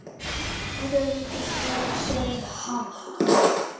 Allir vildu Sögu kveðið hafa.